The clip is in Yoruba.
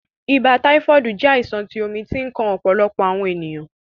Ìbà taifoodi jẹ̀ àìsàn tí omi ti ǹ kan ọ̀pọ̀lọpọ̀ awọn ènìyàn.